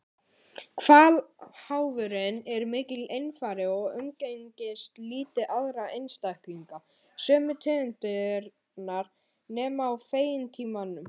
Hvalháfurinn er mikill einfari og umgengst lítið aðra einstaklinga sömu tegundar nema á fengitímanum.